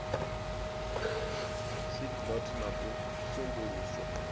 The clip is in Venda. seed lot na u sambuluswa